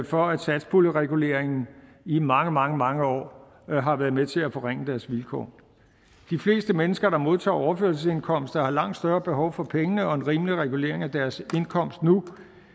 for at satspuljereguleringen i mange mange mange år har været med til at forringe deres vilkår de fleste mennesker der modtager overførselsindkomst har langt større behov for pengene og en rimelig regulering af deres indkomst nu